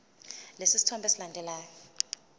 lesi sithombe esilandelayo